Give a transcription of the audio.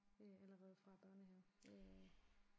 Øh allerede fra børnehave øh